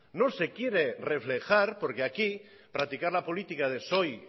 no se quiere reflejar porque aquí practicar la política de soy